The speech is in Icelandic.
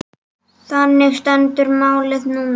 Þannig stendur málið núna.